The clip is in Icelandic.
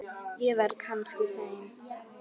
Ég verð kannski seinn.